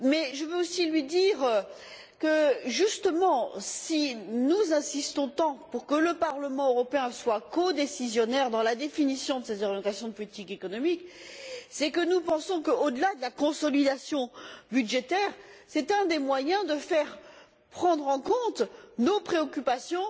Je veux aussi lui dire que, justement, si nous insistons tant pour que le Parlement européen soit codécisionnaire dans la définition de ses orientations de politique économique, c'est que nous pensons que, au delà de la consolidation budgétaire, c'est un des moyens de faire prendre en compte nos préoccupations